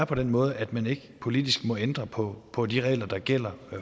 på den måde at man ikke politisk må ændre på på de regler der gælder